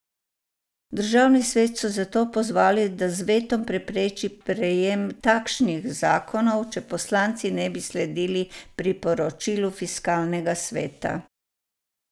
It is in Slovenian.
Državni svet so zato pozvali, da z vetom prepreči prejem takšnih zakonov, če poslanci ne bi sledili priporočilu fiskalnega sveta.